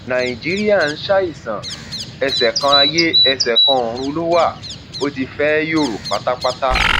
nàìjíríà ń ṣàìsàn ẹsẹ kan ayé ẹsẹ kan ọrun ló wá ó ti fẹẹ yòrò pátápátá